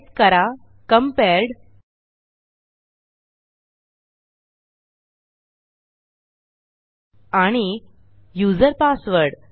type करा compared आणि user password